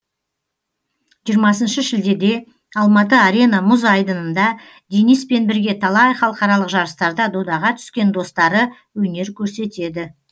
жиырмасыншы шілдеде алматы арена мұз айдынында дениспен бірге талай халықаралық жарыстарда додаға түскен достары өнер көрсетеді